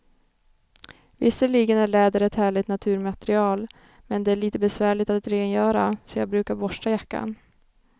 Visserligen är läder ett härligt naturmaterial, men det är lite besvärligt att rengöra, så jag brukar borsta jackan.